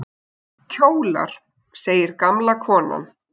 Kjólar! segir gamla konan.